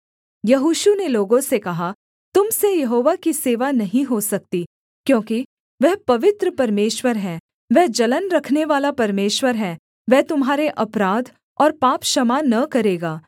यहोशू ने लोगों से कहा तुम से यहोवा की सेवा नहीं हो सकती क्योंकि वह पवित्र परमेश्वर है वह जलन रखनेवाला परमेश्वर है वह तुम्हारे अपराध और पाप क्षमा न करेगा